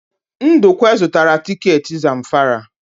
Ndukwe zụtara tiketi Zamfara.